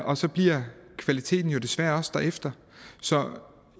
og så bliver kvaliteten jo desværre også derefter så